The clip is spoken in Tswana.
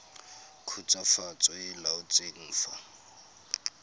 khutswafatso e e laotsweng fa